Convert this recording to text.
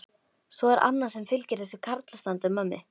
Svo er annað sem fylgir þessu karlastandi á mömmu.